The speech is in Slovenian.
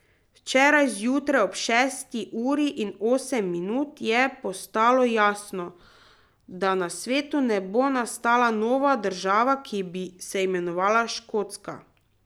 Včeraj zjutraj ob šesti uri in osem minut je postalo jasno, da na svetu ne bo nastala nova država, ki bi se imenovala Škotska.